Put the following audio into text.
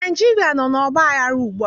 Naịjirịa nọ n'ọgbaghara ugbua